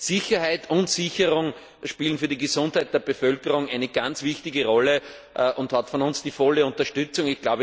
Sicherheit und Sicherung spielen für die Gesundheit der Bevölkerung eine ganz wichtige Rolle und erhalten von uns die volle Unterstützung.